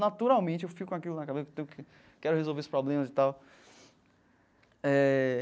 Naturalmente eu fico com aquilo na cabeça, quero resolver os problemas e tal eh.